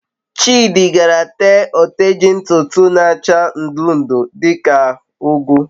Chidi gaara tee oteji ntutu isi n'acha ndu ndu, di ka ugu